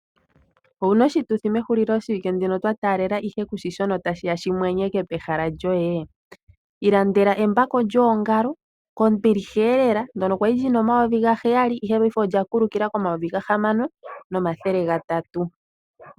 Owu na oshituthi mehulilo shieike ndino twa taalela ihe kushi shono tashi ya shi mwenyeke pehala lyoye. Ilandela embako lyoongalo kombiliha elela , ndono kwa li lyi na omayovi gaheyali ihe paife olya kulukila komayovi gahamano nomathele gatatu.